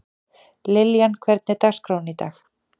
Liljan, hvernig er dagskráin í dag?